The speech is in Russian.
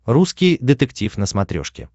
русский детектив на смотрешке